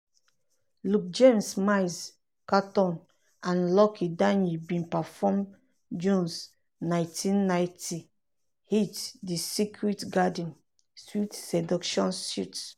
luke james miles caton and lucky daye bin perform jones' 1990 hit "the secret garden (sweet seduction suite)."